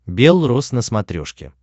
бел рос на смотрешке